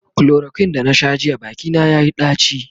chloroquine da na Sha jiya Baki na yayi daci